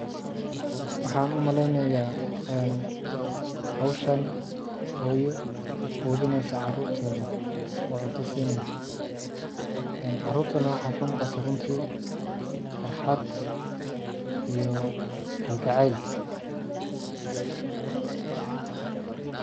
Waxaan u maleynaya ee hawshan hooyo quudinayso carurteeda oo cunta siinayso ee carurtana waxaa ka muuqata runti farxad iyo kalgacayl.